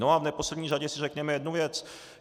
No a v neposlední řadě si řekněme jednu věc.